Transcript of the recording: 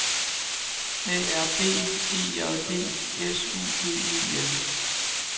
A R B E J D S U G E N